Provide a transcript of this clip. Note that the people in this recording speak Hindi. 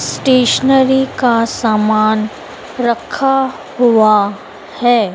स्टेशनरी का सामान रखा हुआ है।